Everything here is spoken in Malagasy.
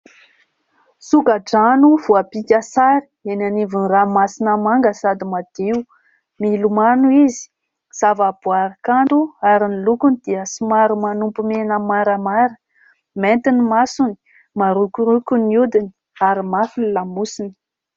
Soka-drano voapika sary eny anivon'ny ranomasina manga sady madio. Milomano izy zavaboary kanto ary ny lokony dia somary manopy mena maramara, mainty ny masony, marokoroko ny hodiny ary mafy ny lamosiny.